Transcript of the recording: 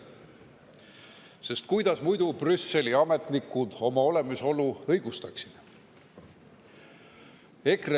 Sest kuidas muidu Brüsseli ametnikud oma olemasolu õigustaksid?